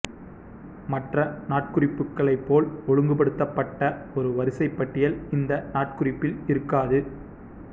மற்ற நாட்குறிப்புகளை போல் ஒழுங்குபடுத்தப்பட்ட ஒரு வரிசைபட்டியல் இந்த நாட்குறிப்பில் இருக்காது